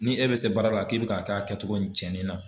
Ni e bɛ se baara la k'e bɛ k'a kɛ a kɛcogo nin cɛnin na.